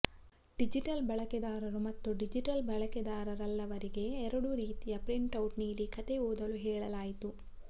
digital ಬಳಕೆದಾರರು ಮತ್ತು digital ಬಳಕೆದಾರರಲ್ಲವರಿಗೆ ಎರಡು ರೀತಿಯ ಪ್ರಿಂಟ್ಔಟ್ ನೀಡಿ ಕಥೆ ಓದಲು ಹೇಳಲಾಯಿತು